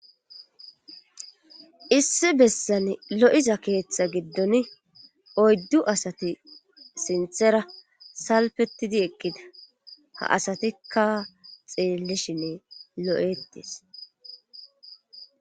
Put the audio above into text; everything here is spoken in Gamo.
Issi bessan lo'iza keeththa giddon oyddu asati sinththera salpetidi eqkida ha asatikka xeellishinne lo'ettees